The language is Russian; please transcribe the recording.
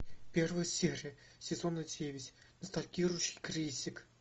первая серия сезона девять ностальгирующий критик